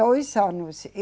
Dois anos.